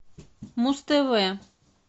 муз тв